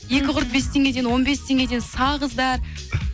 екі құрт бес теңгеден он бес теңгеден сағыздар